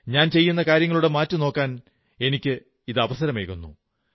ഞാൻ ചെയ്യുന്ന കാര്യങ്ങളുടെ മാറ്റുനോക്കാൻ അവസരമുണ്ടാകുന്നു